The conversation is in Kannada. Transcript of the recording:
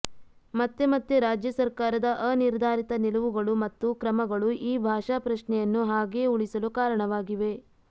ಮತ್ತೆ ಮತ್ತೆ ರಾಜ್ಯ ಸರ್ಕಾರದ ಅನಿರ್ಧಾರಿತ ನಿಲುವುಗಳು ಮತ್ತು ಕ್ರಮಗಳು ಈ ಭಾಷಾ ಪ್ರಶ್ನೆಯನ್ನು ಹಾಗೆಯೇ ಉಳಿಸಲು ಕಾರಣವಾಗಿವೆ